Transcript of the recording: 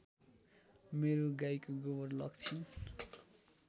मेरो गाईको गोबर लग्छिन्